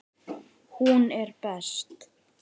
Hún er best.